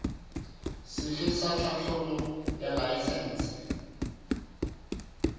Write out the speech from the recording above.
sefe sa tlhahlobo ya laesense